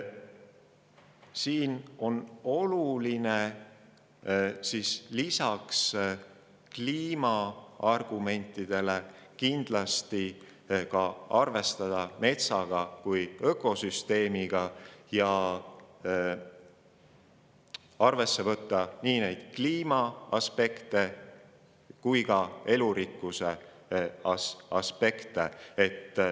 Siin on lisaks kliimaargumentidele kindlasti oluline arvestada ka metsa kui ökosüsteemiga ja arvesse võtta nii kliimaaspekte kui ka elurikkuse aspekte.